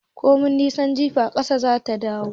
Komai nisan jifa, ƙasa zai dawo